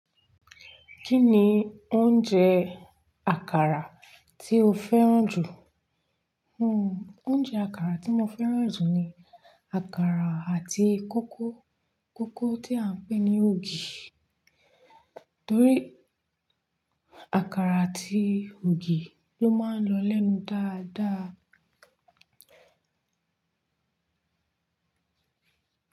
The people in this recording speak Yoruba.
Kí ni oúnjẹ àkàrà tí o fẹ́ràn jù? Hmm oúnjẹ àkàrà tí mo fẹ́ràn jù ni àkàrà àti kókó. Kókó tí à ń pè ní ògì. Torí àkàrà àti ògì ló máa ń lọ lẹ́nu dáadáa.